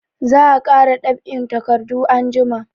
Za a kara dab'in takardu anjima.